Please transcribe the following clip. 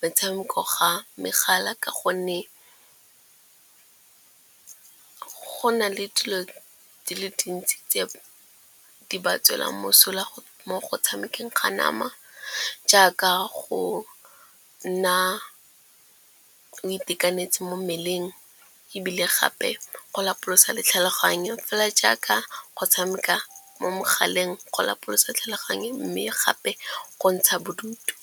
metshameko ga megala ka gonne go na le dilo di le dintsi tse di ba tswelang mosola mo go tshamekeng ga nama. Jaaka go nna o itekanetse mo mmeleng, ebile gape go lapolosa le tlhaloganyo, fela jaaka go tshameka mo megaleng go lapolosa tlhaloganyo, mme gape go ntsha bodutu.